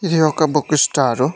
ఇది ఒక book star .